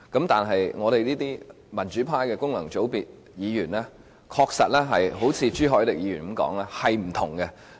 但是，我們民主派的功能界別議員，確實如朱凱廸議員所說般，是有所不同的。